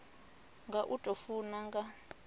nga u tou funa nga